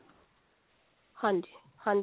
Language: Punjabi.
ਹਾਂਜੀ ਹਾਂਜੀ